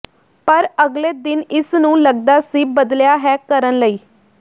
ਪਰ ਅਗਲੇ ਦਿਨ ਇਸ ਨੂੰ ਲੱਗਦਾ ਸੀ ਬਦਲਿਆ ਹੈ ਕਰਨ ਲਈ